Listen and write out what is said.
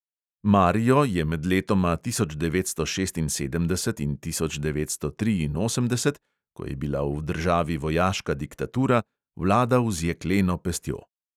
Mario je med letoma tisoč devetsto šestinsedemdeset in tisoč devetsto triinosemdeset, ko je bila v državi vojaška diktatura, vladal z jekleno pestjo.